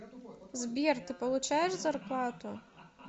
сбер ты получаешь зарплату